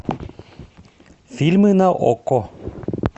фильмы на окко